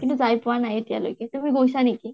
কিন্তু যায় পোৱা নাই এতিয়ালৈকে । তুমি গৈছা নেকি?